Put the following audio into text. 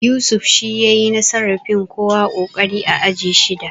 Yusuf shi ya yayi nasarar fin kowa ƙoƙari a aji shida